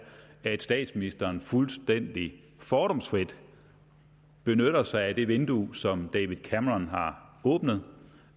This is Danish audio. at statsministeren fuldstændig fordomsfrit benytter sig af det vindue som david cameron har åbnet